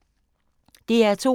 DR2